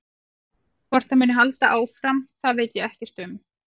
Hvort það muni halda áfram það veit ég ekkert um.